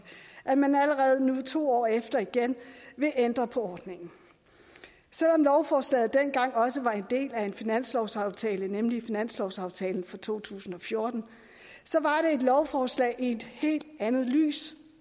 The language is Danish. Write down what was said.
at man allerede nu to år efter igen vil ændre på ordningen selv om lovforslaget dengang også var en del af en finanslovsaftale nemlig finanslovsaftalen for to tusind og fjorten så var det et lovforslag i et helt andet lys